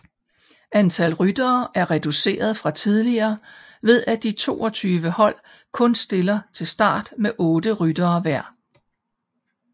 Antal ryttere er reduceret fra tidligere ved at de 22 hold kun stiller til start med otte ryttere hver